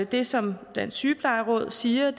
det som dansk sygeplejeråd siger